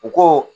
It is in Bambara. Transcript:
U ko